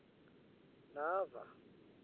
nava